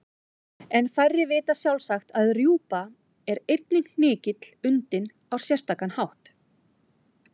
En færri vita sjálfsagt að rjúpa er einnig hnykill undinn á sérstakan hátt.